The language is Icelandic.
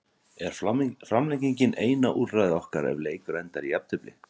Er framlenging eina úrræði okkar ef leikur endar í jafntefli?